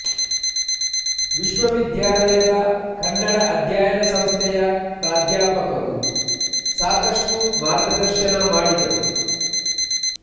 ವಿಶ್ವವಿದ್ಯಾಲಯದ ಕನ್ನಡ ಅಧ್ಯಯನ ಸಂಸ್ಥೆಯ ಪ್ರಾಧ್ಯಾಪಕರು ಸಾಕಷ್ಟು ಮಾರ್ಗದರ್ಶನ ಮಾಡಿದರು